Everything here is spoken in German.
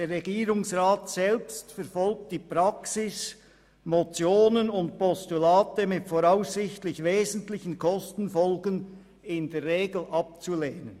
«Der Regierungsrat selbst verfolgt die Praxis, Motionen und Postulate mit voraussichtlich wesentlichen Kostenfolgen in der Regel abzulehnen.»